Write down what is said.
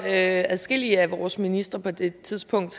adskillige af vores ministre på det tidspunkt